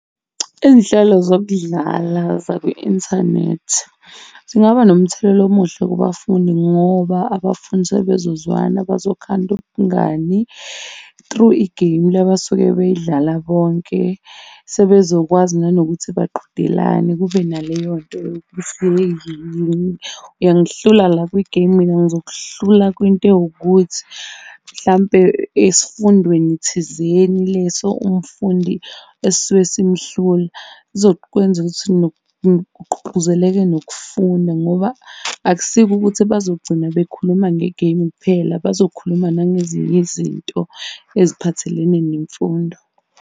Iy'nhlelo zokudlala zakwi-inthanethi zingaba nomthelela omuhle kubafundi ngoba abafundi sebezozwana, bazokhanda ubungani through igeyimu le abasuke beyidlala bonke. Sebezokwazi nanokuthi baqhudelane kube naleyo nto yokuthi uyangihlula la kwigeyimu mina ngizokuhlula kwinto ewukuthi, mhlampe esifundweni thizeni leso umfundi esisuke simhlula. Kuzokwenza ukuthi kugqugquzeleke nokufunda ngoba akusiko ukuthi bazogcina bekhuluma ngegeyimu kuphela, bazokhuluma nangezinye izinto eziphathelene nemfundo.